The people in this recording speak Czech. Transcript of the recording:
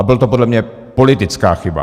A byla to podle mě politická chyba.